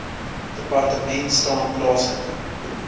departement staan plaaslike